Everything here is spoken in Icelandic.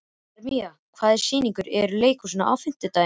Hermína, hvaða sýningar eru í leikhúsinu á fimmtudaginn?